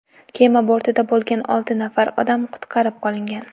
Kema bortida bo‘lgan olti nafar odam qutqarib qolingan.